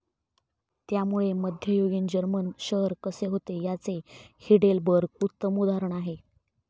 त्यामुळे मध्ययुगीन जर्मन शहर कसे होते याचे हिडेलबर्ग उत्तम उदाहरण आहे.